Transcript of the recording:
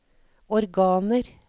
organer